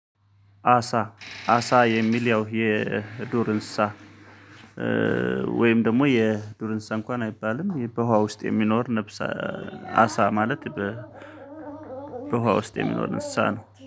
አሳ አሳ የሚለው የዱር እንስሳ ወይም ደግሞ የዱር እንስሳ እንኳን አይባልም በውሃ ውስጥ የሚኖር ነፍስ አሳ ማለት። በውሃ ውስጥ የሚኖር እንስሳ ነው